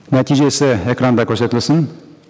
нәтижесі экранда көрсетілсін